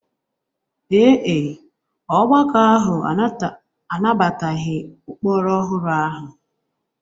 Ee e, ọgbakọ ahụ anabataghị ụkpụrụ ọhụrụ ahụ